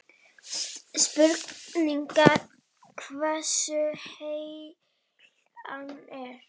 Spurning hversu heill hann er?